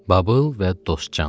Babıl və Dostcan.